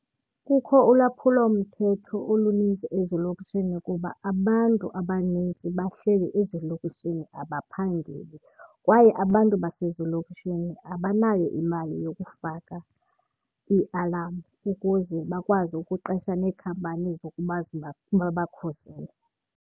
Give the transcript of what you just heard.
Kukho ulwaphulomthetho olunintsi ezilokishini kuba abantu abaninzi bahleli ezilokishini abaphangeli. Kwaye abantu basezilokishini abanayo imali yokufaka iialam ukuze bakwazi ukuqesha neekhampani zokuba babakhusele.